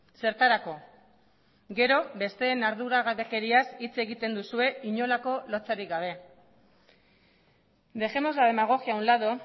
zertarako gero besteen arduragabekeriaz hitz egiten duzue inolako lotsarik gabe dejemos la demagogia a un lado